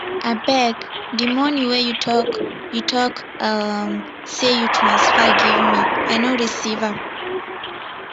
abeg de money wey you talk you talk um say you transfer give me i no receive am